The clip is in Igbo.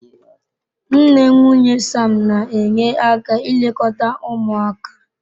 Nne nwunye Sam na-enye aka ilekọta ụmụaka.